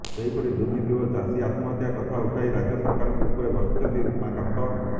ସେହିପରି ଦୁର୍ନୀତି ଓ ଚାଷୀ ଆତ୍ମହତ୍ୟା କଥା ଉଠାଇ ରାଜ୍ୟ ସରକାର ଉପରେ ବର୍ଷିଛନ୍ତି ଉମାକାନ୍ତ